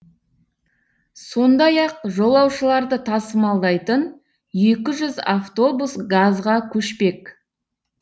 сондай ақ жолаушыларды тасымалдайтын екі жүз автобус газға көшпек